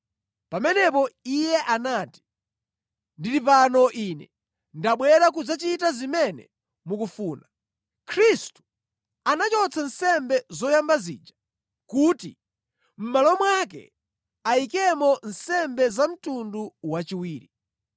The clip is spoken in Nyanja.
Pamenepo Iye anati, “Ndili pano Ine, ndabwera kudzachita zimene mukufuna.” Khristu anachotsa nsembe zoyamba zija kuti mʼmalo mwake ayikemo nsembe za mtundu wachiwiri.